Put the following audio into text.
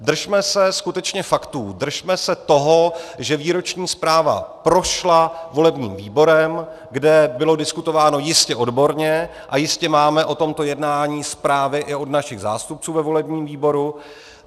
Držíme se skutečně faktů, držme se toho, že výroční zpráva prošla volebním výborem, kde bylo diskutováno jistě odborně, a jistě máme o tomto jednání zprávy i od našich zástupců ve volebním výboru.